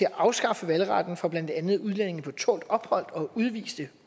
at afskaffe valgretten for blandt andet udlændinge på tålt ophold og udviste